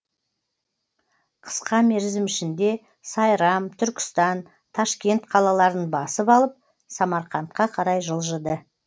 қысқа мерзім ішінде сайрам түркістан ташкент қалаларын басып алып самарқандқа қарай жылжыды